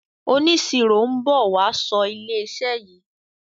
oniṣiro nbọ wá so ìlé iṣẹ yí.